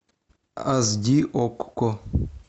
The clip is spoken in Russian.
ас ди окко